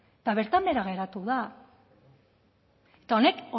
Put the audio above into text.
eta bertan behera geratu da eta honek